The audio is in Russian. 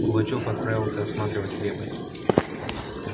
пугачёв отправился осматривать крепость